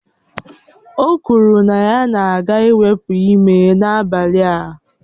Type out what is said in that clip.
O kwuru na ya na-aga iwepu ime n'abalị a